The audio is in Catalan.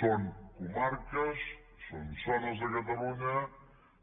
són comarques són zones de catalunya